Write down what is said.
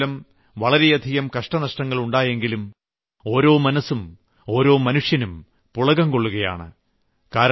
മഴമൂലം വളരെയധികം കഷ്ടനഷ്ടങ്ങൾ ഉണ്ടായിയെങ്കിലും ഓരോ മനസ്സും ഓരോ മനുഷ്യനും പുളകം കൊള്ളുകയാണ്